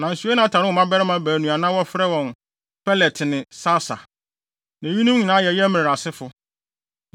nanso Yonatan woo mmabarima baanu a na wɔfrɛ wɔn Pelet ne Sasa. Na eyinom nyinaa yɛ Yerahmeel asefo.